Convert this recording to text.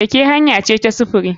Keke hanya ce ta sufuri.